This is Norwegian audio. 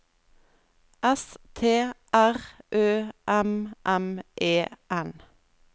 S T R Ø M M E N